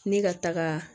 Ne ka taga